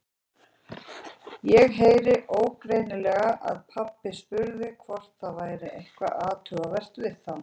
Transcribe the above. Ég heyrði ógreinilega að pabbi spurði hvort það væri eitthvað athugavert við þá.